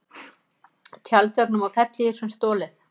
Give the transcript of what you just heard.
Tjaldvögnum og fellihýsum stolið